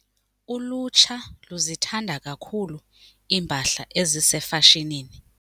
Ulutsha luzithanda kakhulu iimpahla ezisefashinini.